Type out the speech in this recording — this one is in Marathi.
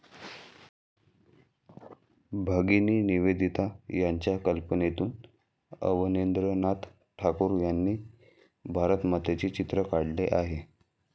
भगिनी निवेदिता यांच्या कल्पनेतून अवनींद्रनाथ ठाकूर यांनी भारतमातेचे चित्र काढले आहे.